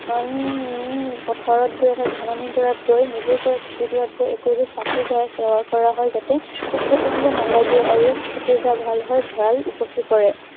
উম উম পথাৰত গৈ অৰ্থাৎ ধাননি ডৰাত গৈ, নিজে কৰা খেতি ডৰাত গৈ, চাঁকি জ্বলাই সেৱা কৰা হয়। যাতে পোক-পতংগবোৰ নালাগে আৰু খেতি ভাল হৈ ভঁৰাল উপচি পৰে।